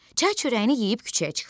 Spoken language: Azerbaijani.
Çay çörəyini yeyib küçəyə çıxdı.